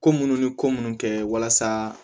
Ko munnu ni ko munnu kɛ walasa